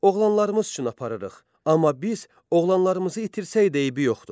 Oğlanlarımız üçün aparırıq, amma biz oğlanlarımızı itirsək eybi yoxdur.